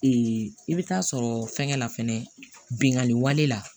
i bɛ taa sɔrɔ fɛnkɛ la fɛnɛ binkanni wale la